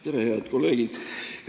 Tere, head kolleegid!